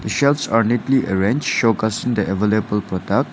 Shelves are neatly arranged showcasing the available product.